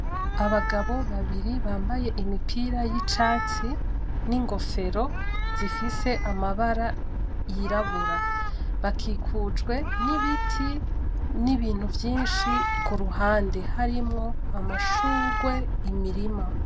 Abagabo babiri bambaye imipira y'icatsi n'ingofero zifise amabara yirabura. Bakikujwe n'ibiti n'ibintu vyinshi ku ruhande, harimwo amashugwe, imirima.